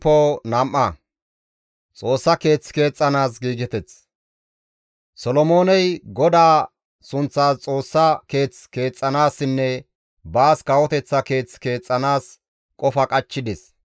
Solomooney GODAA sunththas Xoossa keeth keexxanaassinne baas kawoteththa keeth keexxanaas qofa qachchides.